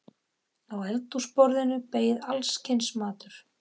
Á eldhúsborðinu beið alls kyns matur.